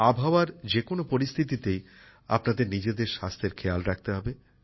আবহাওয়ার যে কোন পরিস্থিতিতেই আপনাদের নিজেদের স্বাস্থ্যের খেয়াল রাখতে হবে